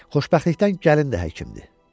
Xoşbəxtlikdən gəlin də həkimdir.